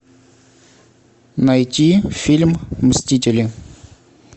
найти фильм мстители